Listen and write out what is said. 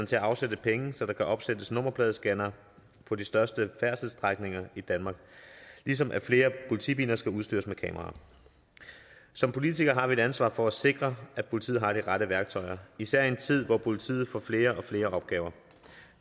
til at afsætte penge så der kan opsættes nummerpladescannere på de største færdselsstrækninger i danmark ligesom flere politibiler skal udstyres med kameraer som politikere har vi et ansvar for at sikre at politiet har de rette værktøjer især i en tid hvor politiet får flere og flere opgaver